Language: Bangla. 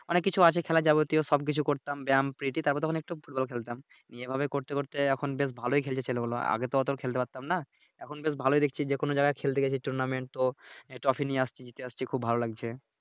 অনেক কিছু আছে খেলার যাবতীয় সব কিছু করতাম ব্যায়াম পিটি তারপরে তখন একটু ফুটবল খেলতাম এইভাবে করতে করতে তখন বেশ ভালোই খেলছে ছেলেগুলো আগে তো অতো খেলতে পারতাম না এখন বেশ ভালোই দেখছি যেকোন জায়গায় খেলতে গেছি Tournament ও ট্রফি নিয়ে আসছি আসছি খুব ভালো লাগছে